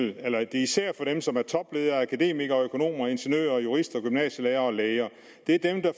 er især for dem som er topledere akademikere økonomer ingeniører jurister gymnasielærere og læger det er dem der